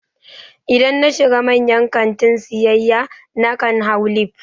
Idan na shiga manyan kantina siyayya, na kan hau lif